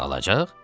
Sağalacaq?